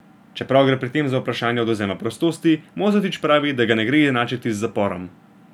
Čeprav gre pri tem za vprašanje odvzema prostosti, Mozetič pravi, da ga ne gre enačiti z zaporom.